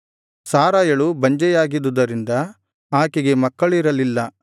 ಸಾರಯಳು ಬಂಜೆಯಾಗಿದುದರಿಂದ ಆಕೆಗೆ ಮಕ್ಕಳಿರಲಿಲ್ಲ